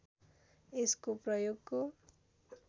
यसको प्रयोगको